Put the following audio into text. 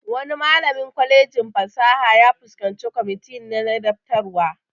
Wani malamin kwalejin fasaha ya fuskanci kwamiti na ladabtarwa